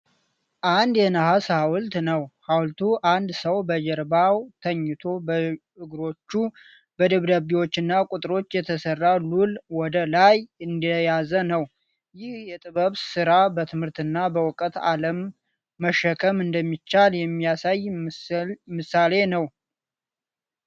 አንድ የነሐስ ሐውልት ነው ። ሐውልቱ አንድ ሰው በጀርባው ተኝቶ፣ በእግሮቹ በደብዳቤዎችና ቁጥሮች የተሠራ ሉል ወደ ላይ እንደያዘ ነው። ይህ የጥበብ ሥራ በትምህርትና በእውቀት ዓለምን መሸከም እንደሚቻል የሚያሳይ ምሳሌ ነው።